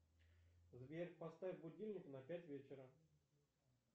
сбер поставь будильник на пять вечера